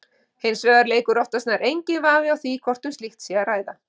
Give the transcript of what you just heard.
Hins vegar leikur oftast nær einhver vafi á því hvort um slíkt sé að ræða.